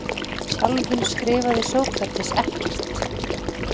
Sjálfur skrifaði Sókrates ekkert.